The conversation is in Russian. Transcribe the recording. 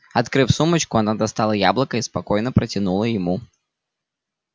открыв сумочку она достала яблоко и спокойно протянула ему